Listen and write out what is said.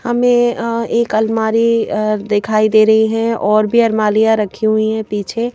हमें एक अलमारी दिखाई दे रही है और भी अलमारियां रखी हुई हैं पीछे ।